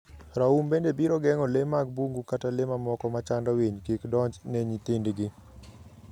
raum bende biro geng'o le mag bungu kata le mamoko machando winy kik donj ne nyithindgi.